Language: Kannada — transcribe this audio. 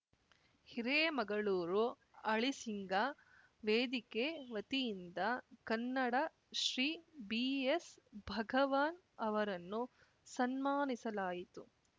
ಹಿರೇಮಗಳೂರು ಅಳಿಸಿಂಗ ವೇದಿಕೆ ವತಿಯಿಂದ ಕನ್ನಡಶ್ರೀ ಬಿಎಸ್‌ ಭಗವಾನ್‌ ಅವರನ್ನು ಸನ್ಮಾನಿಸಲಾಯಿತು